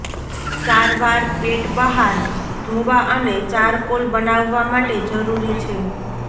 સારવાર પેટ બહાર ધોવા અને ચારકોલ બનાવવા માટે જરૂરી છે